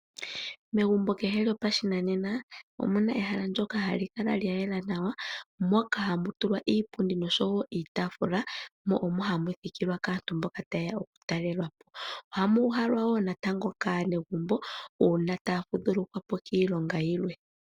Megumbo kehe lyopashinanena, omu na ehala ndyoka hali kala lya yela nawa, moka hamu tulwa iipundi nosho wo iitaafula, mo omo hamu thikilwa kaantu mboka taye ya okutalela po. Oha mu uhalwa wo natango kaanegumbo uuna taya fudhulukwa po kiilonga yilwe.